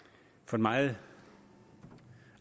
meget